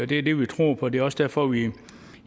det er det vi tror på det er også derfor vi